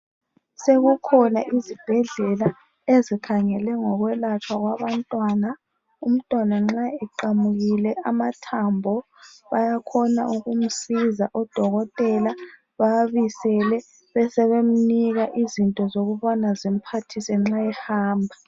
Sekukhona izibhedlela ezikhangele ngokwelatshwa kwabantwana. Umntwana nxa eqamukile amathambo bayakhona ukumsiza odokotela bawabisele besebemnika izinto zokubana zimphathisa nxa ehamba.